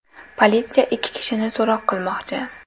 Politsiya ikki kishini so‘roq qilmoqchi.